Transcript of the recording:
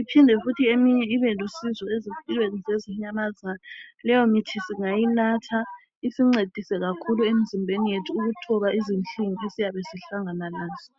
iphinde futhi eminye ibe lusizo ezimpilweni zezinyamazana. Leyo mithi singayinatha isincedise kakhulu emzimbeni yethu ukuthoba izinhlungu esiyabe sihlangana lazo.